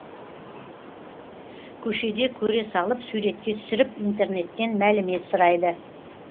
көшеде көре салып суретке түсіріп интернеттен мәлімет сұрайды